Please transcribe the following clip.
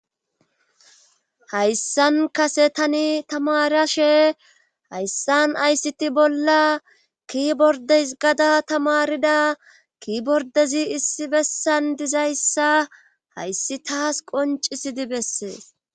Hayssan kase tani tamarashe hayssan aysiti bolla ki bordes gada tamarida ki bordezi issi bessan dizayssa hayssi taas qoncisidi bessees.